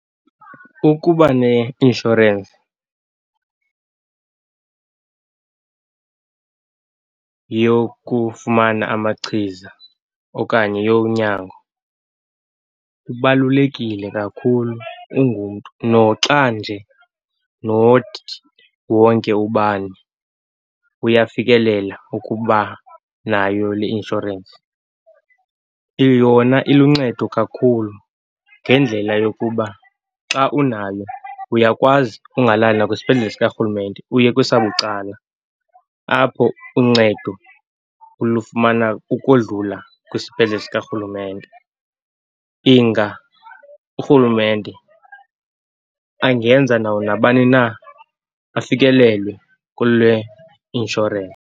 Ukuba ne-inshorensi yokufumana amachiza okanye yonyango kubalulekile kakhulu ungumntu, noxa nje not wonke ubani uyafikelela ukuba nayo le inshorensi. Yona iluncedo kakhulu ngendlela yokuba xa unayo, uyakwazi ungalali nakwisibhedlele sikarhulumente uye kwesabucala, apho uncedo ulufumana ukodlula kwisibhedlele sikarhulumente. Inga urhulumente angenza nawo nabani na afikelele kule .